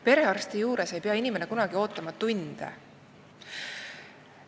Perearsti juures ei pea inimene kunagi ootama tunde.